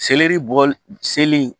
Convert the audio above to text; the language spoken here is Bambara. Seleri bɔli seli